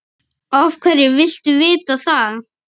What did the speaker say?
Af hverju viltu vita það?